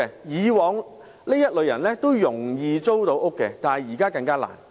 以往這類人士也易於租屋，但現在則更難。